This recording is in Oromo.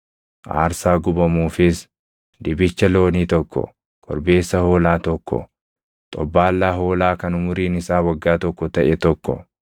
aarsaa gubamuufis dibicha loonii tokko, korbeessa hoolaa tokko, xobbaallaa hoolaa kan umuriin isaa waggaa tokko taʼe tokko,